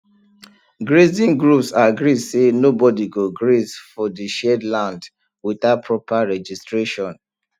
grazing groups agree say nobody go graze for the shared land without proper registration